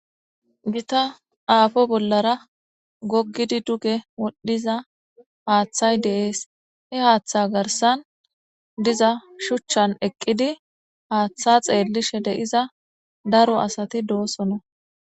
gita aafo bollara goggidi duge wodhdhiza haaththay deees he haaththa garsan diza shuchchan eqqidi haaththa xeellishe de7iza daro asati doosonna